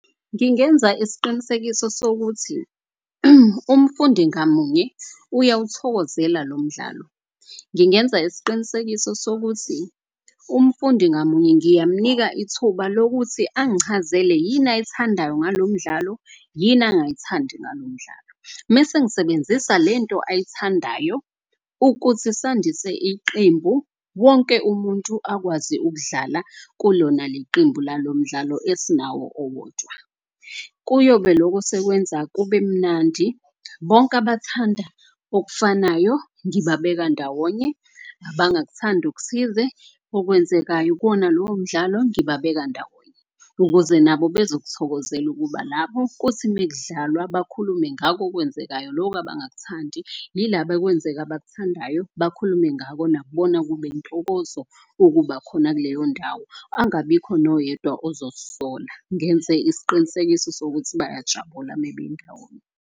Ngingenza isiqinisekiso sokuthi umfundi ngamunye uyawuthokozela lo mdlalo. Ngingenza isiqinisekiso sokuthi umfundi ngamunye ngiyamnika ithuba lokuthi angichazele yini ayithandayo ngalo mdlalo yini angayithandi ngalo mdlalo. Mese ngisebenzisa lento ayithandayo ukuthi sandise iqembu wonke umuntu akwazi ukudlala kulona leli qembu lalo mdlalo esinawo owodwa. Kuyobe loko sekwenza kube mnandi bonke abathanda okufanayo ngibabeka ndawonye. Abangakuthandi okuthize okwenzekayo kuwona lowo mdlalo ngibabeka ndawonye, ukuze nabo bazokuthokozela ukuba lapho. Kuthi mekudlalwa bakhulume ngako okwenzekayo loku abangakuthandi. Yilaba ekwenzeka abakuthandayo, bakhulume ngako. Nakubona kube intokozo ukuba khona kuleyo ndawo, angabikho noyedwa ozozisola. Ngenze isiqinisekiso sokuthi bayajabula mebe ndawonye.